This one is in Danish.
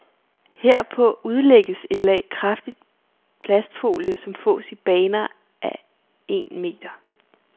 Herpå udlægges et lag kraftig plastfolie, som fås i baner af et meter.